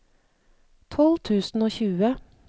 tolv tusen og tjue